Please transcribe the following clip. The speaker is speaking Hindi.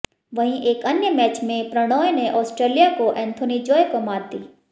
वहीं एक अन्य मैच में प्रणॉय ने आस्ट्रेलिया को एंथोनी जोए को मात दी